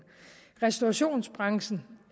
restaurationsbranchen